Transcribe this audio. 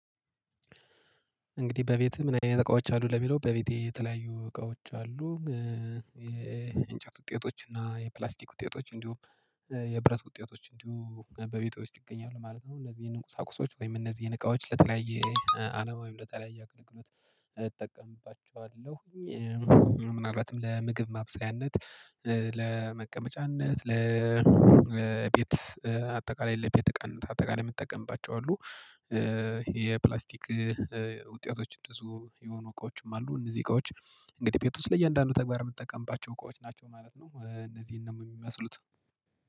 እንግዲህ በቤትህ ምን? አይነት እቃዎች አሉ ለሚለው በቤቴ የተለያዩ እቃዎች አሉ። የእንጨት ውጤቶች እና የፕላስቲክ ውጤቶች እንዲሁም የብረት ውጤቶች እንዲሁም በቤቴ ውስጥ ይገኛሉ ማለት ነው። እነዚህን ቁሳቁሶች ወይም እነዚህን እቃዎች ለተለያየ አላማ ወይም ለተለያየ አገልግሎት እጠቀምባቸዋለሁ። ምናልባትም ለምግብ ማብሰያነት ለመቀመጫነት ለቤት አጠቃላይ የለም ቤት እቃነት አጠቃላይ የምጠቀምባቸው አሉ። ይሄ ፕላስቲክ ውጤቶች እንደዚሁ የሆኑ እቃዎችም አሉ። እነዚህ እቃዎች እንግዲህ ቤት ውስጥ ለእያንዳንዱ ተግባር የምጠቀምባቸው እቃዎች ናቸው ማለት ነው። እነዚህን ነው የሚመስሉት።